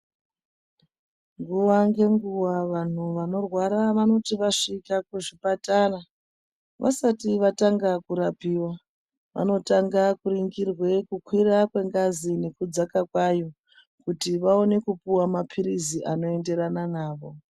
Nguwa ngenguwa vanhu vanorwara vanoti vasvika kuchipatara vasati vatanga kurapiwa vanotanga kuningirwe kukwira kwe ngazi nekudzaka kwayo kuti vaone kupuwa ma pilizi anoenderana navo.